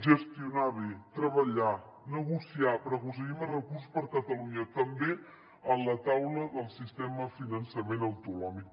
gestionar bé treballar negociar per aconseguir més recursos per a catalunya també a la taula del sistema de finançament autonòmic